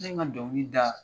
Ne ye n ka dɔnkili da